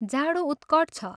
जाडो उत्कट छ।